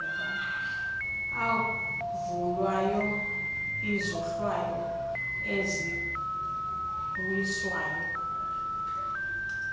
avulwayo izohlwaho eziwiswayo